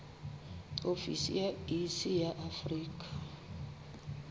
ofisi ya iss ya afrika